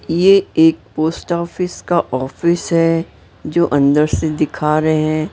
ये एक post office का ऑफिस है जो अंदर से दिखा रहे हैं।